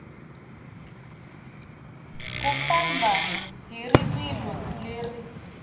u famba hi rivilo leri